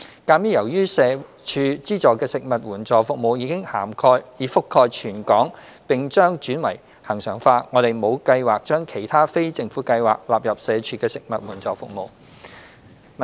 鑒於由社署資助的食物援助服務已覆蓋全港並將轉為恆常化，我們沒有計劃將其他非政府計劃納入社署的食物援助服務。